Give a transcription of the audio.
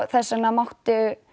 þess vegna mátti